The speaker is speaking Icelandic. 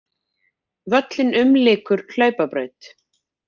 Völlinn umlykur hlaupabraut.